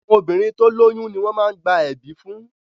Àwọn obìnrin tó lóyún ni wọ́n má ń gba ẹ̀bí fún